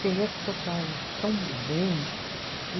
Quem é que tocava tão bem e